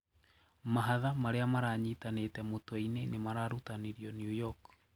Mahatha maria maranyitanĩte mũtweĩni nimararutanirĩo New York.